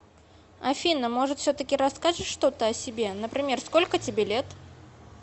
афина может все таки расскажешь что то о себе например сколько тебе лет